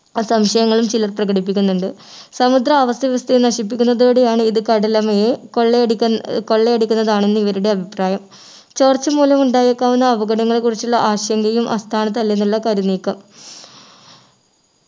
ആ സംശയങ്ങളും ചിലർ പ്രകടിപ്പിക്കുന്നുണ്ട് സമുദ്ര ആവാസ വ്യവസ്ഥയെ നശിപ്പിക്കുന്നതോടെയാണ് ഇത് കടലമ്മയെ കൊള്ളയടിക്ക കൊള്ളയടിക്കുന്നതാണെന്ന് ഇവരുടെ അഭിപ്രായം ചോർച്ച മൂലം ഉണ്ടായെക്കാവുന്ന അപകടങ്ങളെ കുറിച്ചുള്ള ആശങ്കയും അസ്ഥാനത്തല്ലെന്നുള്ള കരുനീക്കം